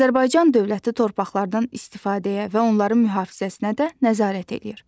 Azərbaycan dövləti torpaqlardan istifadəyə və onların mühafizəsinə də nəzarət eləyir.